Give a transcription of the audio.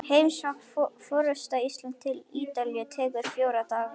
Heimsókn forseta Íslands til Ítalíu tekur fjóra daga.